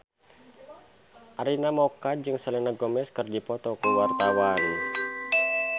Arina Mocca jeung Selena Gomez keur dipoto ku wartawan